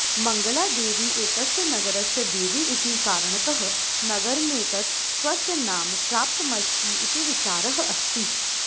मङ्गलादेवि एतस्य नगरस्य देवी इति कारणतः नगरमेतत् स्वस्य नाम प्राप्तमस्ति इति विचारः अस्ति